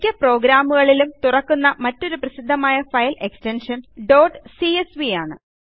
മിക്ക പ്രോഗ്രാമുകളിലും തുറക്കുന്ന മറ്റൊരു പ്രസിദ്ധമായ ഫയൽ എക്സ്റ്റൻഷൻ ഡോട്ട് സിഎസ്വി ആണ്